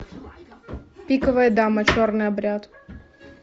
пиковая дама черный обряд